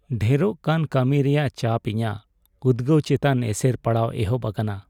ᱰᱷᱮᱨᱚᱜ ᱠᱟᱱ ᱠᱟᱹᱢᱤ ᱨᱮᱭᱟᱜ ᱪᱟᱯ ᱤᱧᱟᱹᱜ ᱩᱫᱜᱟᱹᱣ ᱪᱮᱛᱟᱱ ᱮᱥᱮᱨ ᱯᱟᱲᱟᱣ ᱮᱦᱚᱵ ᱟᱠᱟᱱᱟ ᱾